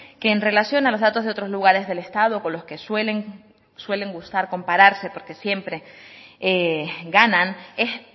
que en relación a los datos de otros lugares del estado con los que suelen suelen gustar compararse porque siempre ganan es